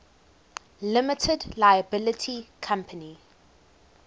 limited liability company